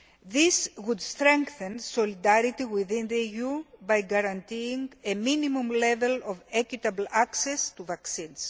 This would strengthen solidarity within the EU by guaranteeing a minimum level of equitable access to vaccines.